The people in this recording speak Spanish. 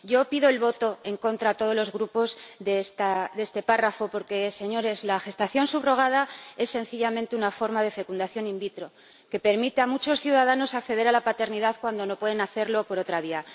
Yo pido a todos los grupos que voten en contra de este apartado porque, señores, la gestación subrogada es sencillamente una forma de fecundación in vitro que permite a muchos ciudadanos acceder a la paternidad cuando no pueden hacerlo por otra vía.